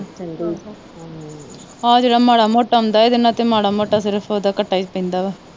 ਆ ਜਿਹੜਾ ਮਾੜਾ-ਮੋਟਾ ਆਉਂਦਾ, ਇਹਦੇ ਨਾਲ ਤਾਂ ਮਾੜਾ ਮੋਟਾ ਘੱਟਾ ਈ ਆਉਂਦਾ।